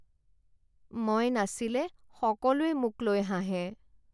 মই নাচিলে সকলোৱে মোক লৈ হাঁহে।